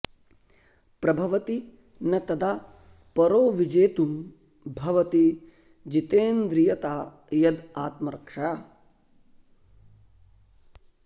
प्रभवति न तदा परो विजेतुं भवति जितेन्द्रियता यद् आत्मरक्षा